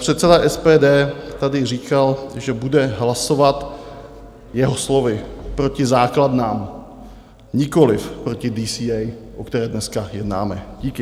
Předseda SPD tady říkal, že bude hlasovat, jeho slovy, proti základnám, nikoliv proti DCA, o které dneska jednáme. Díky.